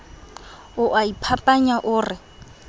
o a iphapanya o re